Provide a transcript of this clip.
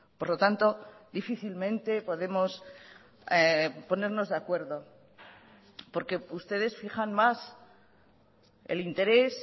por lo tanto difícilmente podemos ponernos de acuerdo porque ustedes fijan más el interés